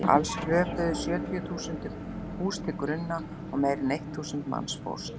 Alls hröpuðu sjötíu hús til grunna og meira en eitt þúsund manns fórst.